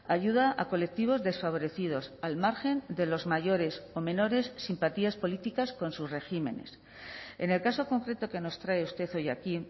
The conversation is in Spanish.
ayuda a colectivos desfavorecidos al margen de los mayores o menores simpatías políticas con sus regímenes en el caso concreto que nos trae usted hoy aquí